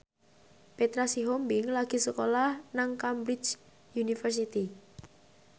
Petra Sihombing lagi sekolah nang Cambridge University